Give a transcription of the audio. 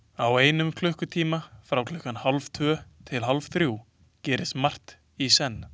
Á einum klukkutíma, frá klukkan hálftvö til hálfþrjú gerist margt í senn.